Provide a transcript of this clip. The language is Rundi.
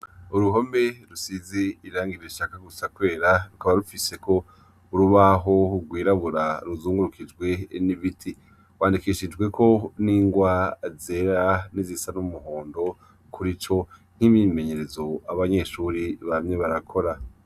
Uruhome rusize irangi rishaka gusa kwera. Rukaba rufiseko urubaho rwirabura rukaba ruzungurukijwe n'ibiti. Rwandikishijweko n'ingwa zera n'izisa n'umuhondo n'imyimenyerezo abanyeshuri bamye barakora.